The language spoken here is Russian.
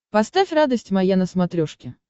поставь радость моя на смотрешке